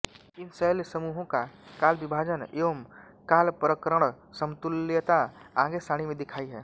इन शैलसमूहों का कालबिभाजन एवं कालप्रकरणसमतुल्यता आगे सारणी में दिखाई है